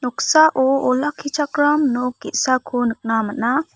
noksao olakkichakram nok ge·sako nikna man·a.